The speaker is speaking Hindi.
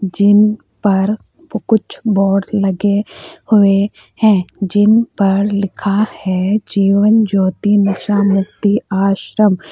जिन पर कुछ बोर्ड लगे हुए है जिन पर लिखा है जीवन ज्योति नशा मुक्ति आश्रम।